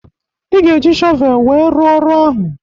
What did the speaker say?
Ị ga-eji shọvel wee rụ ọrụ ahụ